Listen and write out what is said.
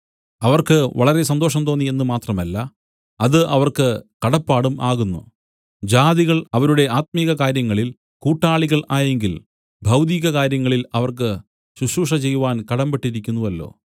അവർക്ക് വളരെ സന്തോഷം തോന്നി എന്നു മാത്രമല്ല അത് അവർക്ക് കടപ്പാടും ആകുന്നു ജാതികൾ അവരുടെ ആത്മിക കാര്യങ്ങളിൽ കൂട്ടാളികൾ ആയെങ്കിൽ ഭൗതിക കാര്യങ്ങളിൽ അവർക്ക് ശുശ്രൂഷ ചെയ്‌വാൻ കടമ്പെട്ടിരിക്കുന്നുവല്ലോ